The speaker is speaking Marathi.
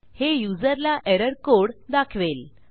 हे युजरला एरर कोड दाखवेल